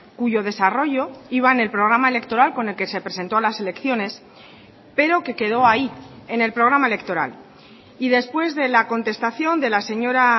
cuyo desarrollo iba en el programa electoral con el que se presentó a las elecciones pero que quedó ahí en el programa electoral y después de la contestación de la señora